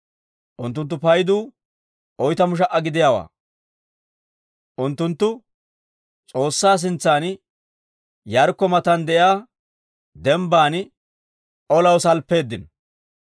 Unttunttu paydu oytamu sha"a gidiyaawaa. Unttunttu S'oossaa sintsan, Yaarikko matan de'iyaa dembban olaw salppeeddino.